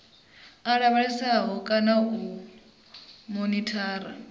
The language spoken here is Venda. u lavhelesa kana u monithara